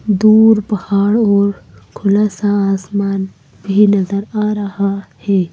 दूर पहाड़ और खुला सा आसमान भी नजर आ रहा है।